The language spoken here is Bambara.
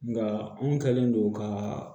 Nka anw kɛlen don ka